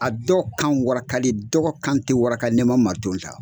A dɔ kan warakalen dɔ ka kan tɛ waraka n'i ma mariton ta.